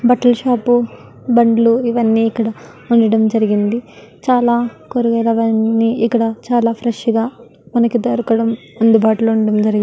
బట్టలు షాప్ బండులు ఇవన్నీ ఇక్కడ ఉండడం జరిగింది చాల కూరగాయలవాన్ని ఇక్కడ చాల ఫ్రెష్ గ మనకి దొరుకడం అందుబాటులో ఉండడం జరిగింది --